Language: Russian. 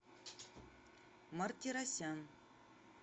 мартиросян